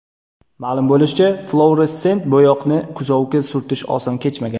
Ma’lum bo‘lishicha, fluoressent bo‘yoqni kuzovga surtish oson kechmagan.